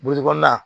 kɔnɔna